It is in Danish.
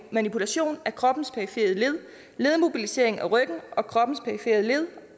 manipulation af kroppens perifere led ledmobilisering af ryggen og kroppens perifere led